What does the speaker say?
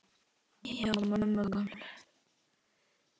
Hjá mömmu gömlu?!